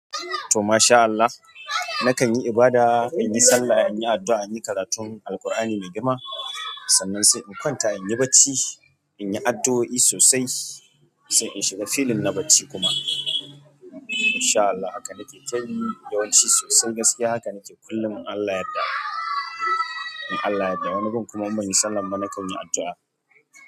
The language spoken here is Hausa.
To mashaa Allah nakan yi ibada, in yi sallah, in yi addu'a, in yi karatun Alkur'ani na gima. Sannan sai in kwanta in yi bacci in yi adduoi sosai sai in shiga feeling na bacci kuma in shaa Allah haka nake ta yi yawanci sosai gaskiya haka nake kullum in Allah yadda, in Allah yadda. Wani gun kuma in banyi sallan ba nakan yi addu'a.